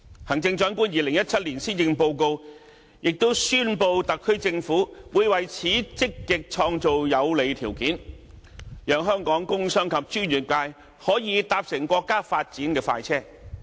行政長官在2017年施政報告，亦宣布特區政府會為此積極創造有利條件，讓香港工商及專業界可以搭乘國家發展的快車。